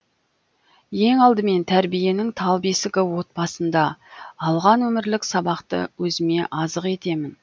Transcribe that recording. ең алдымен тәрбиенің тал бесігі отбасында алған өмірлік сабақты өзіме азық етемін